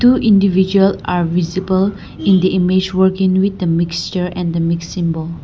two individual are visible in the image working with the mixture and mixing bowl.